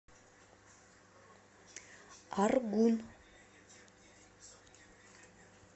аргун